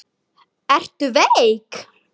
Ertu veik?